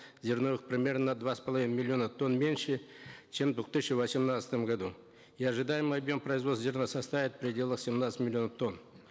зерновых примерно на два с половиной миллиона тонн меньше чем в двух тысячи восемнадцатом году и ожидаемый объем производства зерна составит в пределах семнадцати миллионов тонн